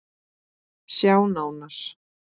Sjá nánar